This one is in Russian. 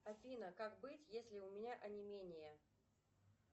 афина как быть если у меня онемение